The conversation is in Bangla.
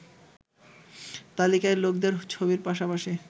তালিকায় লোকদের ছবির পাশাপাশি